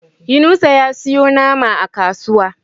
Yunusa ya siyo nama a kasuwa.